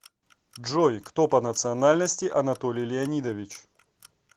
джой кто по национальности анатолий леонидович